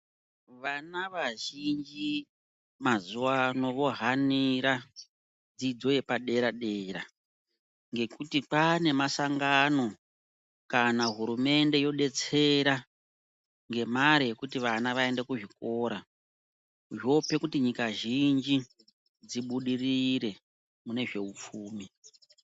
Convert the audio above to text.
Vana vazhinji mazuva ano vohanira dzidzo yepadera dera ngekuti pane masangano kana hurumende yodetsera ngemari yekuti vana vaende kuzvikora zvope kuti nyika zhinji dzibudirire mune zvehupfumi.